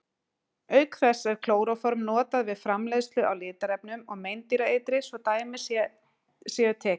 Auk þess er klóróform notað við framleiðslu á litarefnum og meindýraeitri svo dæmi séu tekin.